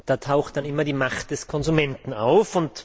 Da taucht dann immer die Macht des Konsumenten auf.